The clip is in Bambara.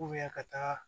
ka taga